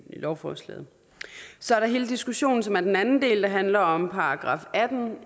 lovforslaget så er der hele diskussionen som er den anden del der handler om § atten